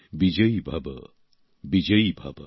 বিজয়ী ভব বিজয়ী ভব